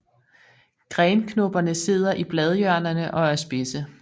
Grenknopperne sidder i bladhjørnerne og er spidse